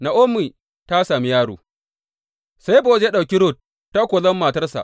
Na’omi ta sami yaro Sai Bowaz ya ɗauki Rut ta kuwa zama matarsa.